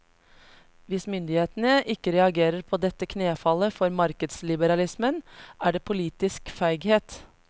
Hvis myndighetene ikke reagerer på dette knefallet for markedsliberalismen, er det politisk feighet.